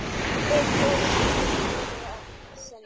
Þig, góða systir, kveð ég að sinni.